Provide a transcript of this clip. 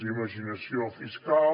imaginació fiscal